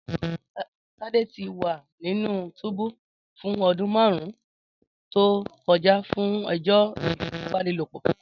Tade ti wa ninu túbú fun ọdun marun to kọja fun ẹjọ ifipabanilopo.